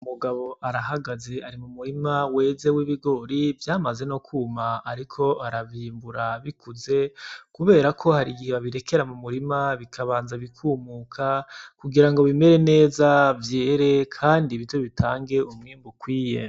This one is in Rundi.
Umugabo arahagaze ari mu murima weze w’ibigori vyamaze no kwuma. Ariko aravyimbura bikuze kuberako hari igihe abirekera mu murima bikabanza bikumuka, kugira ngo bimere neza vyere kandi bize bitange umwimbu ukwiye.